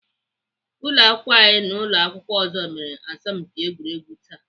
Ụlọakwụkwọ anyị na ụlọakwụkwọ ọzọ mere asọmpi egwuregwu taa